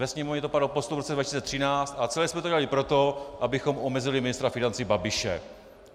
Ve Sněmovně to padlo pod stůl v roce 2013 - a celé jsme to dělali proto, abychom omezili ministra financí Babiše!